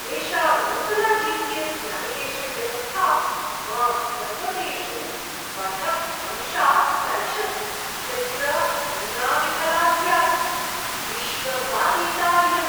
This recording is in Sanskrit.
एषा नूतना जी पी एस् न्याविगेशन् व्यवस्था मां पर्वतेषु पथभंशात् अरक्षत् यत्र अन्या विफला स्यात्, विश्वासातीता इयम्!